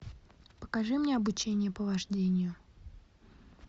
покажи мне обучение по вождению